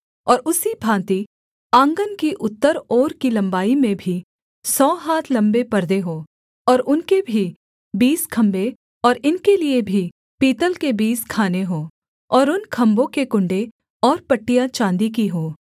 और उसी भाँति आँगन की उत्तर ओर की लम्बाई में भी सौ हाथ लम्बे पर्दे हों और उनके भी बीस खम्भे और इनके लिये भी पीतल के बीस खाने हों और उन खम्भों के कुण्डे और पट्टियाँ चाँदी की हों